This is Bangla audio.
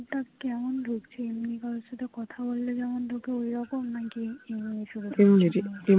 phone তা কেমন ঢুকছে এমনি কারোর সাথে কথা বললে